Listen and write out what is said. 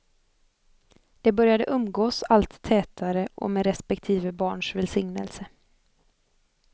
De började umgås allt tätare och med respektive barns välsignelse.